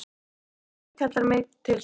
Ef Guð kallar mig til sín.